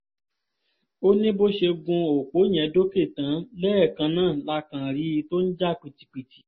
ó ní bó ṣe gun opó yẹn dókè tán lẹ́ẹ̀kan náà la kàn rí i tó ń jà pìtìpìtì